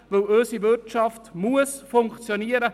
Denn unsere Wirtschaft muss funktionieren.